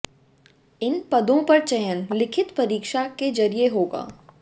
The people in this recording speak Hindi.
इन पदों पर चयन लिखित परीक्षा के जरिए होगा